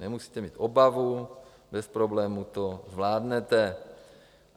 Nemusíte mít obavu, bez problému to zvládnete.